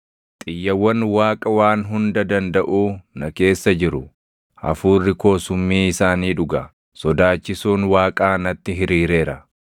Xiyyawwan Waaqa Waan Hunda Dandaʼuu na keessa jiru; hafuurri koo summii isaanii dhuga; sodaachisuun Waaqaa natti hiriireera.